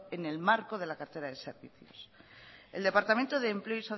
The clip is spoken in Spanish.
en el marco de la cartera de servicios el departamento de empleo